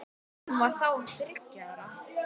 Hún var þá þriggja ára.